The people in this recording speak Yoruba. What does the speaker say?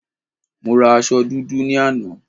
Mo ra aṣọ dúdú ní àná